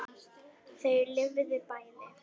Þau lifðu bæði.